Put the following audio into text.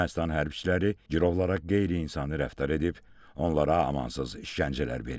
Ermənistan hərbçiləri girovlara qeyri-insani rəftar edib, onlara amansız işgəncələr verib.